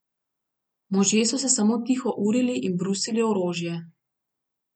Možje so se samo tiho urili in brusili orožje.